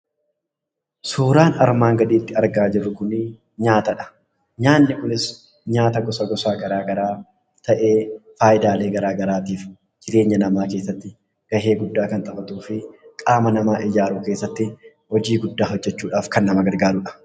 Suuraan armaan gaditti argamuu Kun nyaata. Nyaanni kunis gosa garaa garaa ta'ee, faayidaalee garaa garaa jireenya dhala namaa keessatti kan kennuu fi jabeenya qaama namaaf kan gargaarudha.